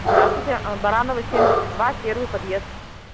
здравствуйте а баранова семьдесят два первый подъезд